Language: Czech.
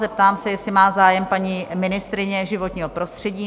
Zeptám se, jestli má zájem paní ministryně životního prostředí?